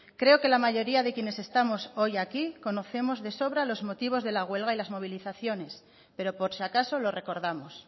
creo que la mayoría de quienes estamos hoy aquí conocemos de sobra los motivos de la huelga y las movilizaciones pero por si acaso lo recordamos